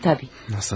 Mənim, əlbəttə.